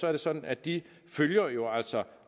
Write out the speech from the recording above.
er det sådan at de følger